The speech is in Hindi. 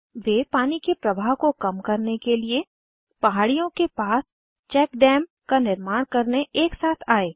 वे पानी के प्रवाह को कम करने के लिए पहाड़ियों के पास चैक डैम का निर्माण करने एक साथ आए